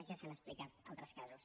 ja s’han explicat altres casos